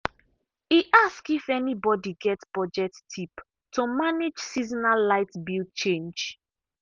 e ask if anybody get budget tip to manage seasonal light bill change.